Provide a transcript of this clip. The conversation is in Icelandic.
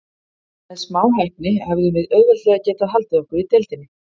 Með smá heppni hefðum við auðveldlega getað haldið okkur í deildinni.